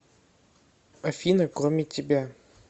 афина кроме тебя